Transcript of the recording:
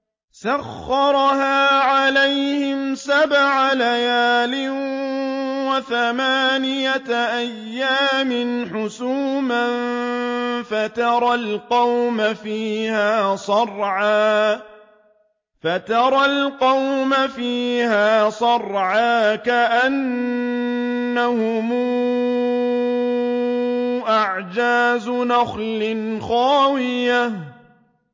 سَخَّرَهَا عَلَيْهِمْ سَبْعَ لَيَالٍ وَثَمَانِيَةَ أَيَّامٍ حُسُومًا فَتَرَى الْقَوْمَ فِيهَا صَرْعَىٰ كَأَنَّهُمْ أَعْجَازُ نَخْلٍ خَاوِيَةٍ